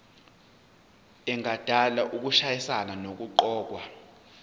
engadala ukushayisana nokuqokwa